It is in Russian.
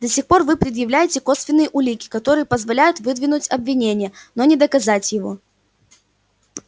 до сих пор вы предъявляете косвенные улики которые позволяют выдвинуть обвинение но не доказать его